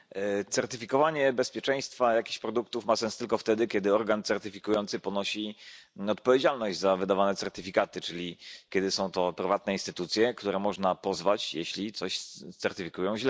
Panie Przewodniczący! Certyfikowanie bezpieczeństwa jakichś produktów ma sens tylko wtedy, kiedy organ certyfikujący ponosi odpowiedzialność za wydawane certyfikaty, czyli kiedy są to prywatne instytucje, które można pozwać, jeśli coś źle certyfikują.